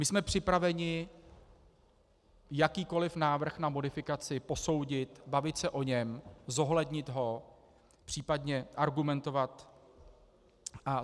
My jsme připraveni jakýkoli návrh na modifikaci posoudit, bavit se o něm, zohlednit ho, případně argumentovat.